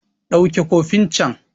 Ɗauke cofin can!